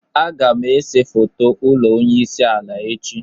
Agam ese foto ulo onye isi ala echi.